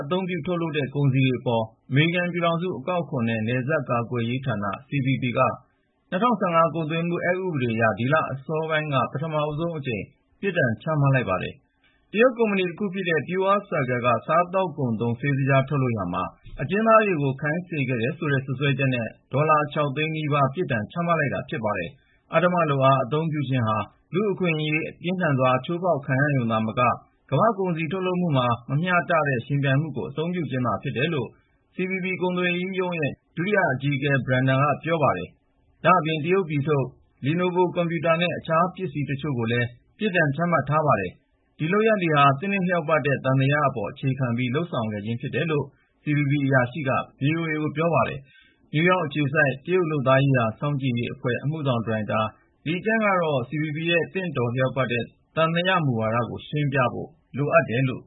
သုံးပြု ထုတ်လုပ်တဲ့ ကုန်စည်တွေအပေါ် အမေရိကန်ပြည်ထောင်စု အကောက်အခွန်နဲ့ နယ်စပ်ကာကွယ်ရေးဌာန (CBP) က ၂၀၁၅ ကုန်သွယ်မှု အက်ဥပဒေအရ ဒီလအစောပိုင်းက ပထမဦးဆုံးအကြိမ် ပြစ်ဒဏ်ချမှတ်လိုက်ပါတယ်။ တရုတ်ကုမ္ပဏီတခုဖြစ်တဲ့ PureCircle က စားသောက်ကုန်သုံး ဆေးသကြား ထုတ်လုပ်ရာမှာ အကျဉ်းသားတွေကို ခိုင်းစေခဲ့တယ်ဆိုတဲ့ စွပ်စွဲချက်နဲ့ ဒေါ်လာ ၆ သိန်းနီးပါး ပြစ်ဒဏ်ချမှတ်လိုက်တာ ဖြစ်ပါတယ်။ အဓမ္မလုပ်အား အသုံးပြုခြင်းဟာ လူ့အခွင့်အရေး ပြင်းထန်စွာ ချိုးဖောက်ရုံသာမက ကမ္ဘာ့ကုန်စည်ထုတ်လုပ်မှုမှာ မမျှတသော ယှဉ်ပြိုင်မှုကို အသုံးပြုခြင်းသာ ဖြစ်တယ်လို့ CBP ကုန်သွယ်ရေးရုံးရဲ့ ဒုတိယအကြီးအကဲ Brenda Smith က ဆိုပါတယ်။ ဒါ့အပြင် တရုတ်ပြည်ထုတ် Lenovo ကွန်ပျူတာနဲ့ တခြားပစ္စည်းတချို့ကိုလည်း ပြစ်ဒဏ်ချမှတ်ထားပါတယ်။ ဒီလုပ်ရပ်တွေဟာ သင့်တင့်လျောက်ပတ်တဲ့ သံသယအပေါ် အခြေခံပြီး လုပ်ဆောင်တာဖြစ်တယ်လို့ CBP အရာရှိက ဗွီအိုအေကို ပြောပါတယ်။ နယူးယောက်အခြေစိုက် တရုတ်လုပ်သားရေးရာ စောင့်ကြည့်မှုအဖွဲ့ အမှုဆောင်ဒါရိုက်တာ Li Qiang ကတော့ CBP ရဲ့ သင့်တင့်လျောက်ပတ်တဲ့ သံသယမူဝါဒကို ရှင်းပြဖို့လိုတယ်လို့